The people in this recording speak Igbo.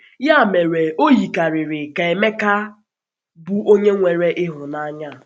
Ya mere, o yikarịrị ka Emeka bụ onye nwere ịhụnanya a.